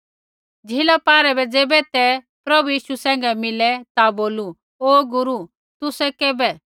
झ़ीला पारै ज़ैबै ते प्रभु यीशु सैंघै मिले ता बोलू ओ गुरू तुसै औखै कैबै